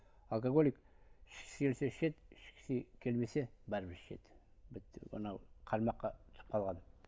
алкоголик ішкісі келсе ішеді ішкісі келмесе бәрібір ішеді бітті анау қармаққа түсіп қалған